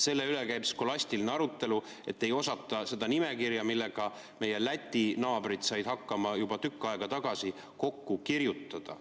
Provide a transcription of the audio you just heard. Selle üle käib skolastiline arutelu, et ei osata seda nimekirja, millega meie Läti naabrid said hakkama juba tükk aega tagasi, kokku kirjutada.